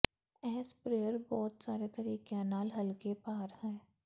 ਇਹ ਸਪਰੇਅਰ ਬਹੁਤ ਸਾਰੇ ਤਰੀਕਿਆਂ ਨਾਲ ਹਲਕੇ ਭਾਰ ਹੈ